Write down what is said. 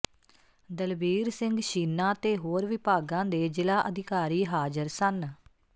ਦਲਬੀਰ ਸਿੰਘ ਛੀਨਾ ਤੇ ਹੋਰ ਵਿਭਾਗਾਂ ਦੇ ਜਿਲਾ ਅਧਿਕਾਰੀ ਹਾਜ਼ਰ ਸਨ